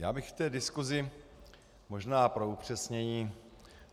Já bych v té diskusi možná pro upřesnění.